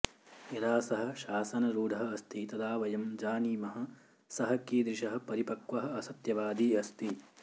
यदा सः शासनरूढः अस्ति तदा वयं जानीमः सः कीदृशः परिपक्वः असत्यवादी अस्ति